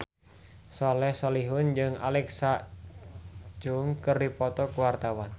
Soleh Solihun jeung Alexa Chung keur dipoto ku wartawan